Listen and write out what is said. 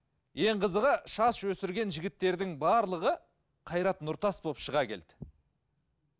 ең қызығы шаш өсірген жігіттердің барлығы қайрат нұртас болып шыға келді